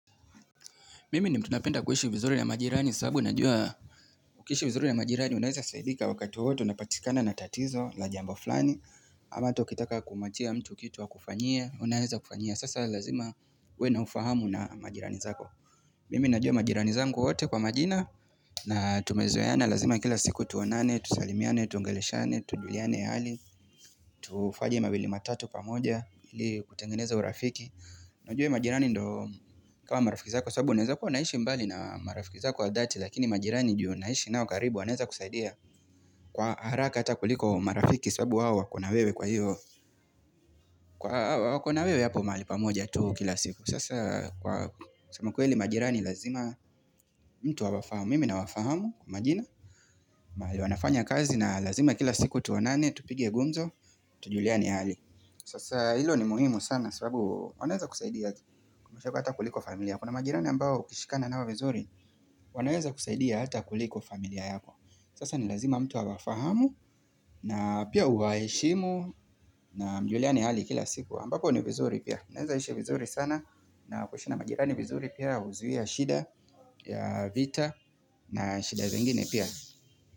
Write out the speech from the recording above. Mimi ni mtu napenda kuishi vizuri na majirani saabu najua ukiishi vizuri na majirani unaweza saidika wakati wowote unapatikana na tatizo la jambo fulani ama hata ukitaka kumwachia mtu kitu akufanyie unaeza kufanyia sasa lazima uwe na ufahamu na majirani zako Mimi najua majirani zangu wote kwa majina na tumezoeana lazima kila siku tuonane, tusalimiane, tuongeleshane, tujuliane hali tufanye mawili matatu pamoja ili kutengeneza urafiki Najue majirani ndo kama marafiki zako Saabu unaeza kuwa naishi mbali na marafiki zako wa dhati Lakini majirani juu naishi nao karibu wanaeza kusaidia kwa haraka hata kuliko marafiki Saabu wao wako na wewe kwa hiyo Kwa wako na wewe hapo mahali pamoja tu kila siku Sasa kwa sema kweli majirani lazima mtu awafahamu mimi nawafahamu kwa majina mahali wanafanya kazi na lazima kila siku tuonane tupige gumzo tujuliane hali Sasa ilo ni muhimu sana sababu wanaeza kusaidia Kumashako hata kuliko familia Kuna majirani ambao ukishikana nao vizuri wanaweza kusaidia hata kuliko familia yako Sasa ni lazima mtu awafahamu na pia uwaeshimu na mjuliane hali kila siku ambapo ni vizuri pia mnaeza ishi vizuri sana na kushina majirani vizuri pia huzuia shida ya vita na shida zengine pia.